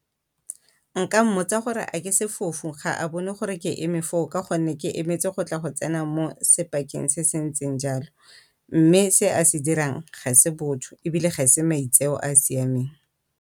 Nka mmotsa gore a ke sefofu ga a bone gore ke eme foo ka gonne ke emetse go tla go tsena mo se se ntseng jalo, mme se a se dirang ga e se botho ebile ga e se maitseo a a siameng.